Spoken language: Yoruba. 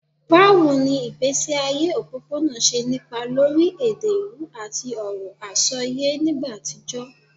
Báwo ni ìgbésí ayé òpópónà ṣe nípa lórí èdè ìlú àti ọ̀rọ̀ àsọyé nígbà àtijọ́?